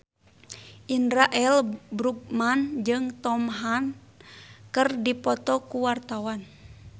Indra L. Bruggman jeung Tom Hanks keur dipoto ku wartawan